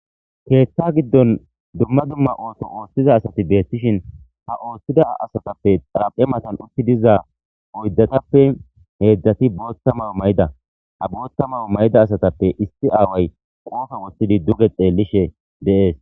Keeththa giddon dumma dumma ooto ooththiza asati deettishin ha ooththida asatappe xara7e matan utti diza oydatappe heedzdzati bootta mawu mayda ha bootta mawu mayida asatappe issi aaway qoofa woththidi duge xeellishe deees.